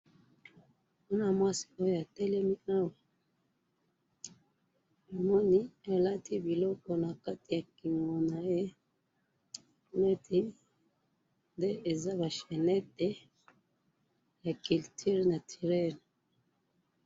mwana mwasi oyo atelemi awa, namoni alati biloko na kati ya kingo naye neti nde eza ba chenette ya culture naturelle